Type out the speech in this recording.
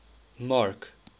mark